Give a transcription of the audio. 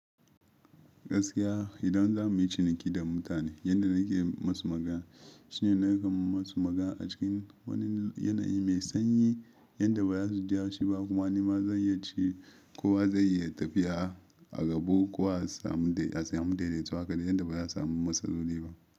Gaskiya idan za mu yi ciniki da mutane, yadda na ke masu magana shine na kan masu magana a cikin wani yanayi mai sanyi yadda ba za su ji haushi ba kuma ni ma zan iya ci. Kowa zai iya tafiya a gabo ko a samu da a samu daidaituwa haka da yadda ba za a samu matsaloli ba.